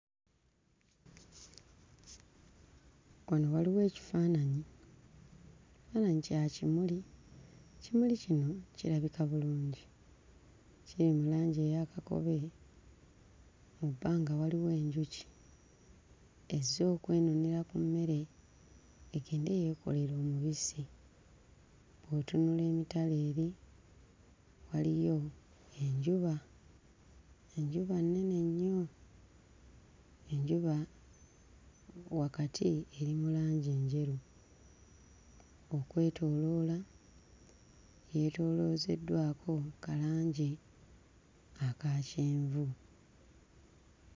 Wano waliwo ekifaananyi, ekifaananyi kya kimuli ekimuli kino kirabika bulungi kiri mu langi eya kakobe era nga waliwo enjuki ezze okwenonera ku mmere egende yeekolere omubisi. Bwe ntunula emitala eri waliyo enjuba. Enjuba nnene nnyo enjuba wakati eri mu langi njeru okwetooloola yeetooloozeddwako ka langi aka kyenvu.